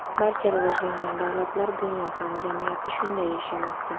Barcha rivojlangan davlatlar, dunyo hamjamiyati shunday yashamoqda.